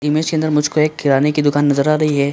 Image के अंदर मुझको एक किराने की दुकान नज़र आ रही है।